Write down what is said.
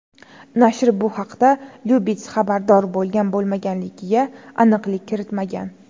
Nashr bu haqda Lyubits xabardor bo‘lgan-bo‘lmaganligiga aniqlik kiritmagan.